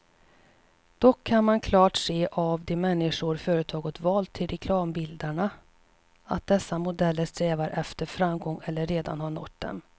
Dock kan man klart se av de människor företaget valt till reklambilderna, att dessa modeller strävar efter framgång eller redan har nått den.